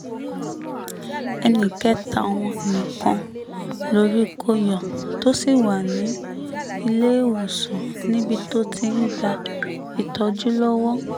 ẹnì kẹta wọn nìkan lórí kò yọ tó sì wà ní iléewòsàn níbi tó ti ń gba ìtọ́jú lọ́wọ́